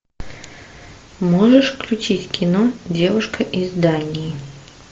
можешь включить кино девушка из дании